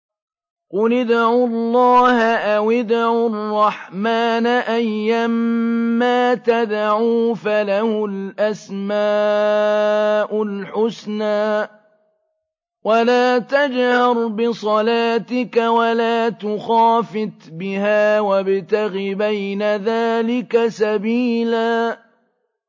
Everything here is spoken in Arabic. قُلِ ادْعُوا اللَّهَ أَوِ ادْعُوا الرَّحْمَٰنَ ۖ أَيًّا مَّا تَدْعُوا فَلَهُ الْأَسْمَاءُ الْحُسْنَىٰ ۚ وَلَا تَجْهَرْ بِصَلَاتِكَ وَلَا تُخَافِتْ بِهَا وَابْتَغِ بَيْنَ ذَٰلِكَ سَبِيلًا